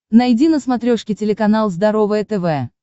найди на смотрешке телеканал здоровое тв